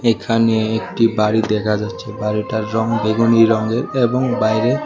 এখানে একটি বাড়ি দেখা যাচ্ছে বাড়িটার রঙ বেগুনি রঙের এবং বাইরে--